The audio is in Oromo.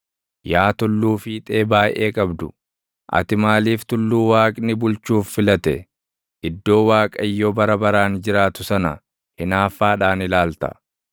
yaa tulluu fiixee baayʼee qabdu, ati maaliif tulluu Waaqni bulchuuf filate, iddoo Waaqayyo bara baraan jiraatu sana // hinaaffaadhaan ilaalta?